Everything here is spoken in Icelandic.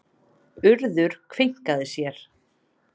Urður kveinkaði sér.